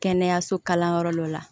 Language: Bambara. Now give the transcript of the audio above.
Kɛnɛyaso kalanyɔrɔ dɔ la